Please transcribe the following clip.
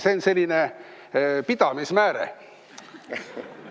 See on selline pidamismääre.